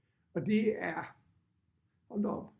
Og det er hold da op